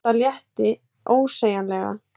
Tóta létti ósegjanlega.